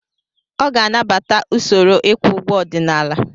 Ọ ga-anabata usoro ịkwụ ụgwọ ọdịnala.